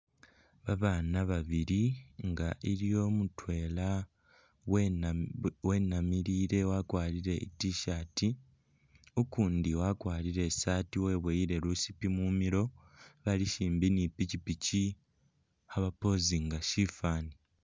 Babaana babili nga iliwo mutwela wena wenamilile wakwarire i'tshirt, ukundi wakwarire isaati weboyele lusiipi mumilo bali simbi ne ipikipiki khaba pozinga sifaani.